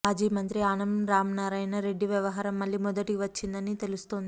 మాజీ మంత్రి ఆనం రామనారాయణ రెడ్డి వ్యవహారం మళ్లీ మొదటి వచ్చిందని తెలుస్తోంది